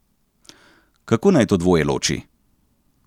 Kako naj to dvoje loči?